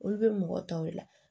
Olu bɛ mɔgɔ tɔw de la